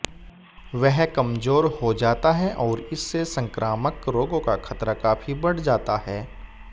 वह कमजोर हो जाता है और इससे संक्रामक रोगों का खतरा काफी बढ़ जाता है